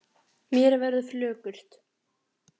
Mér verður flökurt